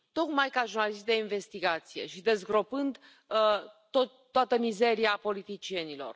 Tocmai ca jurnalist de investigație și dezgropând toată mizeria politicienilor.